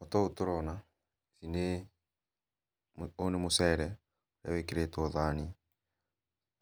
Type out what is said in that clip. O ta úũ tũrona, nĩ, ũyũ nĩ mũcere wĩkĩrĩtwo thani,